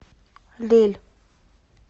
лель